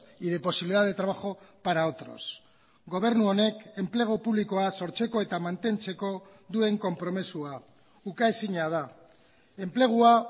y de posibilidad de trabajo para otros gobernu honek enplegu publikoa sortzeko eta mantentzeko duen konpromisoa ukaezina da enplegua